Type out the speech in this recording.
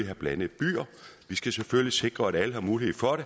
have blandede byer vi skal selvfølgelig sikre at alle har mulighed for at